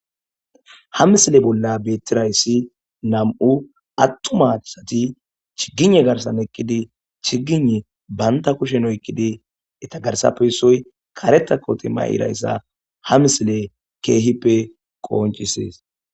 Ha missile bolla bettirayisi nam'u attuma chiggigne garissan eqqidi chiggigne banta kushshen oyiqqidi eta garssappe issoy karetta kotte mayirayisa ha missileyi kehippe qonccises.